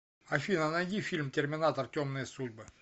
афина найди фильм терминатор темные судьбы